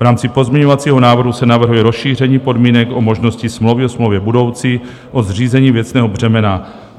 V rámci pozměňovacího návrhu se navrhuje rozšíření podmínek o možnosti smlouvy o smlouvě budoucí, o zřízení věcného břemena.